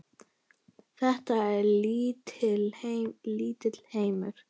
Þetta er lítill heimur!